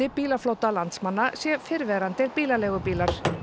bílaflota landsmanna sé fyrrverandi bílaleigubílar